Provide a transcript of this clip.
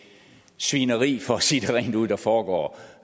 svineri for at sige det rent ud der foregår